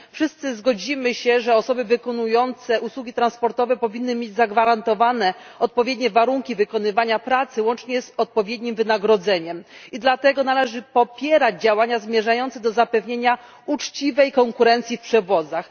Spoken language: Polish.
Wszyscy zgodzimy się, że osoby wykonujące usługi transportowe powinny mieć zagwarantowane odpowiednie warunki wykonywania pracy, łącznie z odpowiednim wynagrodzeniem, i dlatego należy popierać działania zmierzające do zapewnienia uczciwej konkurencji w przewozach.